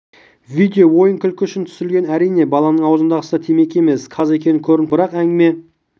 видео ойын-күлкі үшін түсірілген әрине баланың аузындағысы да темекі емес қағаз екені көрініп тұр бірақ әңгіме